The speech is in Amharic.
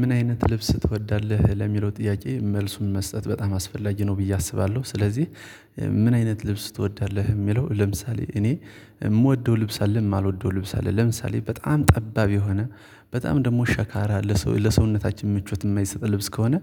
ምን አይነት ልብስ ትወዳለህ ለሚለው ጥያቄ መልሱን መስጠት በጣም አስፈላጊ ነው ብዬ አስባለሁ ስለዚህ ምን አይነት ልብስ ትወዳለህ? ሚለው ለምሳሌ እኔ ምወደው ልብስ አለኝ ማልወደው ልብስ አለኝ ለምሳሌ በጣም ጠባብ የሆነ በጣም ደግሞ ሸካራ ለሰውነታችን ምቾት የማይሰጥ ልብስ ከሆነ